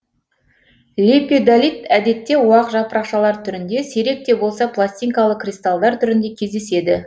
лепидолит әдетте уақ жапырақшалар түрінде сирек те болса пластинкалы кристалдар түрінде кездеседі